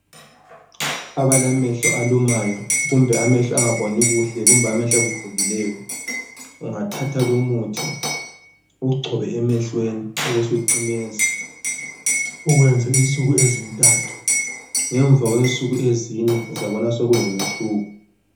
Abalamehlo alumayo kumbe amehlo angaboni kuhle kumbe amehlo avuvukileyo ungathatha lowo muthi uwugcobe emehlweni ubusucimeza ukuwenze insuku ezinthathu ngemva kwensuku ezine uzabona sokulomehluko